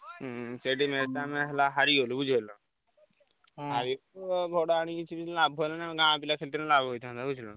ହଁ ସେଇଠି match ଟା ହେଲା ଆମେ ହରିଗଲୁ ବୁଝିପାରିଲୁ? ଆଉ ପିଲା ଆଣି କିଛି ଲାଭ ହେଲାନି ଆମ ଗାଁ ଇଲ ଖେଳିଥିଲେ ଲାଭ ହେଇଥାନ୍ତା।